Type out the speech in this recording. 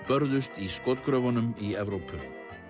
börðust í skotgröfunum í Evrópu